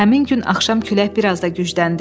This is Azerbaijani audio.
Həmin gün axşam külək bir az da gücləndi.